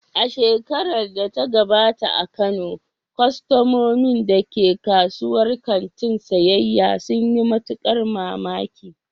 A shekarar da ta gabata a Kano, kwastomomin da ke kasuwar kantin siyyaya sun yi matukar mamaki.